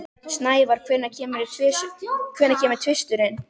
Snævar, hvenær kemur tvisturinn?